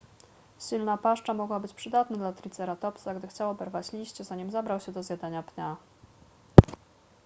silna paszcza mogła być przydatna dla triceratopsa gdy chciał oberwać liście zanim zabrał się do zjadania pnia